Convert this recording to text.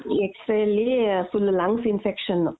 X-ray ಲಿ full lungs infection.